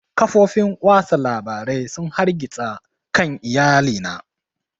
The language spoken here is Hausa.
Kafofin watsa labarai sun hargitsa kan iyali na